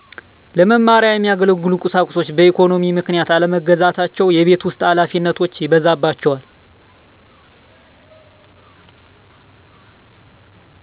ለመማሪያ የሚያገለግሉ ቁሳቁሶችን በኢኮኖሚ ምክኛት አለመግዛታቸው የቤት ውስጥ ሀላፊነት ይበዛባቸዋል